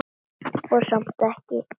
Og samt ekki þoka.